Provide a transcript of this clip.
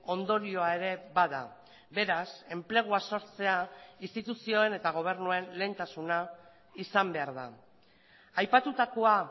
ondorioa ere bada beraz enplegua sortzea instituzioen eta gobernuen lehentasuna izan behar da aipatutakoa